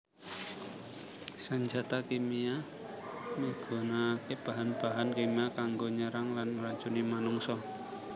Sanjata kimia migunakaké bahan bahan kimia kanggo nyerang lan ngracuni manungsa